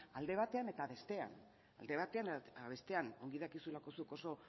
alde batean eta bestean ongi dakizulako zuk oso